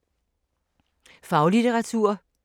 Faglitteratur